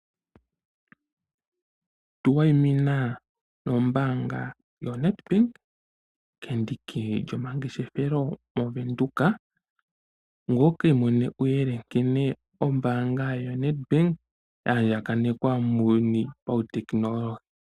Tuwayimina nombaanga yoNet bank kendiki lyomangeshefelo moVenduka ngye wukiimonene uuyelele nkene ombaanga yoNet Bank yaandjakanekwa muuyuni pautekinolohi.